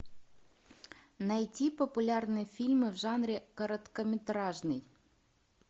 найти популярные фильмы в жанре короткометражный